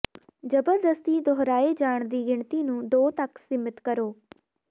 ਜ਼ਬਰਦਸਤੀ ਦੁਹਰਾਏ ਜਾਣ ਦੀ ਗਿਣਤੀ ਨੂੰ ਦੋ ਤੱਕ ਸੀਮਿਤ ਕਰੋ